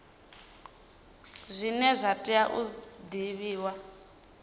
zwine zwa tea u divhiwa